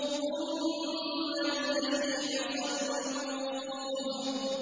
ثُمَّ الْجَحِيمَ صَلُّوهُ